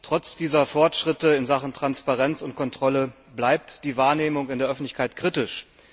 Trotz dieser Fortschritte in Sachen Transparenz und Kontrolle bleibt die Wahrnehmung in der Öffentlichkeit kritisch.